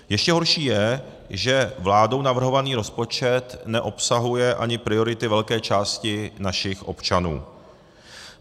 Ještě horší je, že vládou navrhovaný rozpočet neobsahuje ani priority velké části našich občanů.